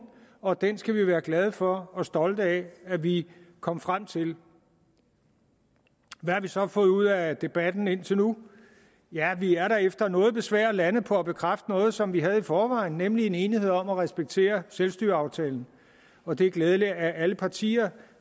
og den skal vi være glade for og stolte af at vi kom frem til hvad har vi så fået ud af debatten indtil nu ja vi er da efter noget besvær landet på at bekræfte noget som vi havde i forvejen nemlig en enighed om at respektere selvstyreaftalen og det er glædeligt at alle partier